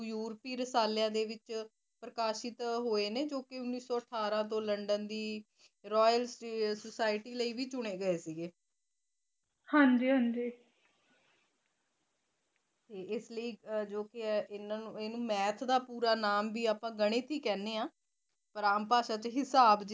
ਇਸ ਲਈ ਜੋ ਇਹਨਾ ਨੂੰ math ਦਾ ਪੂਰਾ ਨਾਅ ਵੀ ਆਪਾ ਗਣਿਤ ਹੀ ਕਹਿੰਦੇ ਆ ਰਾਮ ਭਾਸ਼ਾ ਚ ਹਿਸਾਬ ਜਿਦਾ ਹਿੰਦੀ ਪੰਜਾਬੀ